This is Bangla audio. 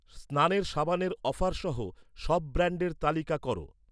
স্নানের সাবানের অফার সহ সব ব্র্যান্ডের তালিকা কর